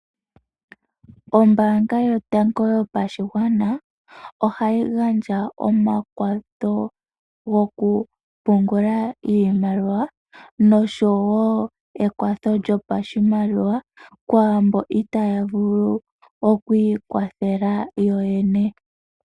Ombaanga yOtango yOpashigwana ohayi gandja omakwatho gokupungula oshimaliwa noshowo ekwatho lyopashimaliwa kwaamboka itaya vulu okwiikwathela yoyene.